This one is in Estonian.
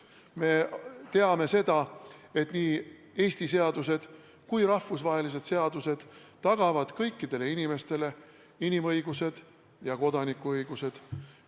Me teame seda, et nii Eesti riigi seadused kui ka rahvusvahelised seadused tagavad kõikidele inimestele inimõigused ja kodanikuõigused.